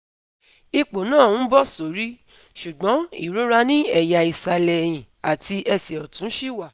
Ipò náà ń bọ̀ sórí, ṣùgbọ́n ìrora ní ẹ̀yà ìsàlẹ̀ ẹ̀hìn àti ẹsẹ̀ ọ̀tún ṣì wà